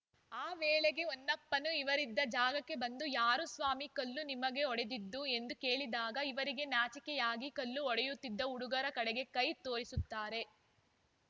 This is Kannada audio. ಆ ವೇಳೆಗೆ ಹೊನ್ನಪ್ಪನೂ ಇವರಿದ್ದ ಜಾಗಕ್ಕೆ ಬಂದು ಯಾರು ಸ್ವಾಮಿ ನಿಮಗೆ ಕಲ್ಲು ಹೊಡೆದಿದ್ದು ಎಂದು ಕೇಳಿದಾಗ ಇವರಿಗೆ ನಾಚಿಕೆಯಾಗಿ ಕಲ್ಲು ಹೊಡೆಯುತ್ತಿದ್ದ ಹುಡುಗರ ಕಡೆಗೆ ಕೈ ತೋರಿಸುತ್ತಾರೆ